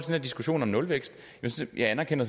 her diskussion om nulvækst anerkender